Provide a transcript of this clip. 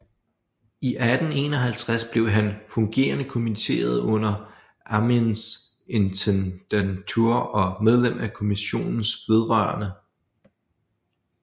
I 1851 blev han fungerende kommitteret under Armeens Intendantur og medlem af Kommissionen vedr